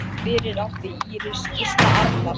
Fyrir átti Íris Gísla Arnar.